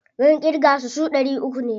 Mun ƙirga su, su ɗari uku ne.